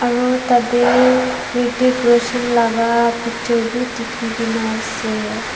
aro tate hrithik roshan laga noksa bi dikhi gena ase.